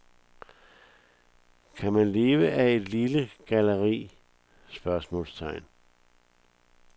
Kan man leve af et lille galleri? spørgsmålstegn